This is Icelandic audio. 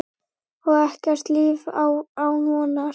Og ekkert líf án vonar.